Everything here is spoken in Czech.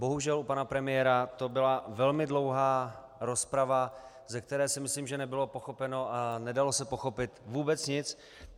Bohužel u pana premiéra to byla velmi dlouhá rozprava, ze které si myslím, že nebylo pochopeno a nedalo se pochopit vůbec nic.